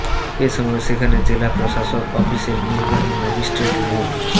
এ সময় সেখানে জেলা প্রশাসক অফিসের নির্বাহী ম্যাজিস্ট্রেট মো